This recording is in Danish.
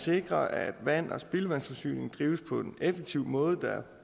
sikre at vand og spildevandsforsyning drives på en effektiv måde der